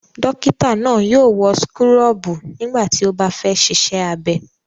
Dọ́kítá náà yóò wọ súkúrọ́bù nígbà tí ó bá fẹ́ ṣiṣẹ́ abẹ.